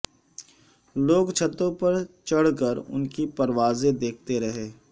لوگ چھتوں پر چھڑ کر ان کی پروازیں دیکھتے رہے